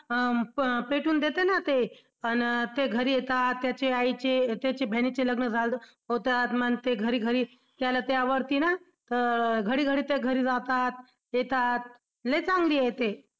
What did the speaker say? अं पेटवून देतंय ना ते अन ते घरी येतात त्याचे आई चे बहिणीचे लग्न झालं होतात मग ते घरी घरी त्यावरती ना घडी घडी ते घरी राहतात येतात. लई चांगली आहे ते